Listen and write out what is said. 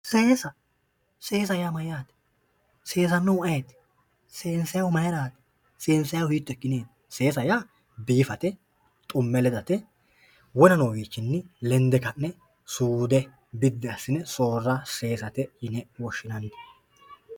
Seesa, seesa yaa mayate, seesanohu ayeeti, seensannihu mayrati, seensannihu hiitto ikkineti seesa yaa biifate xume ledate wona noowichini lende ka'ne suude biddi assine ka'ne soorra seesate yinne woshshinanni.